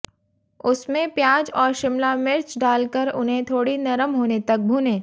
उसमें प्याज और शिमला मिर्च डालकर उन्हें थोड़ी नरम होने तक भूनें